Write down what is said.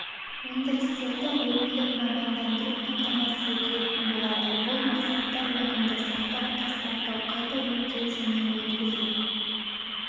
өндірістерді өңірлік мамандандыру қамтамасыз етілетін болады бұл мақсатта өнімді сақтау тасымалдау қайта өңдеу және өткізу